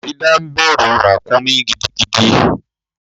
Faridat ń bẹrù ràkúnmí gidigidi.